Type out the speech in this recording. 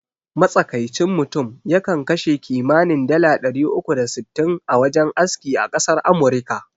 Matsakaicin mutum ya kan kashe kimanin dala ɗari uku da sittin a wajen aski a ƙasar amurika